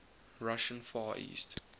russian far east